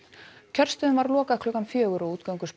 kjörstöðum var lokað klukkan fjögur og